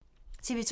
TV 2